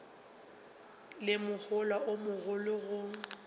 le mohola o mogolo go